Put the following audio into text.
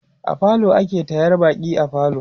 a falo ake taryar baƙi a falo